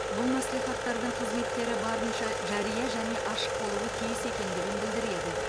бұл мәслихаттардың қызметтері барынша жария және ашық болуы тиіс екендігін білдіреді